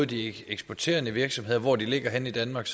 de eksporterende virksomheder og hvor de ligger henne i danmark